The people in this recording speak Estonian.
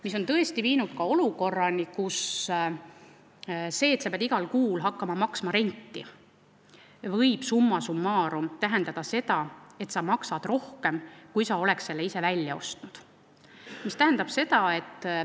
See on tõesti loonud ka olukorra, kus see, et sa pead igal kuul maksma renti, võib summa summarum tähendada, et sa maksad rohkem kui siis, kui sa oleksid selle abivahendi välja ostnud.